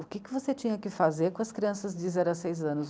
O que você tinha que fazer com as crianças de zero a seis anos?